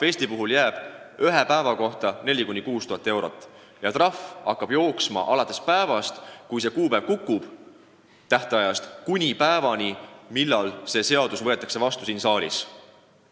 Eesti trahv ühe päeva kohta on 4000–6000 eurot ja see hakkab jooksma alates päevast, kui tähtaeg kukub, ja kestab päevani, millal seadus siin saalis vastu võetakse.